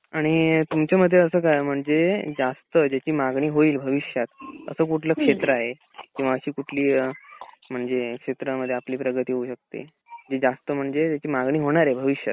आणि तुमच्या मते असच आहे जास्त ज्याची मागणी होईल भविष्यात असं कुठलं क्षेत्र आहे किंवा असं कुठली म्हणजे क्षेत्रामध्ये आपली प्रगती होऊ शकते जी जास्त म्हणजे ज्याची मागणी होणार आहे भविष्यात.